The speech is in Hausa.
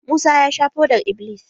Musa ya sha fodar-iblis.